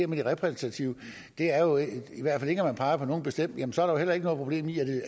med det repræsentative i hvert fald ikke at man peger på nogen bestemt jamen så er der vel heller ikke noget problem i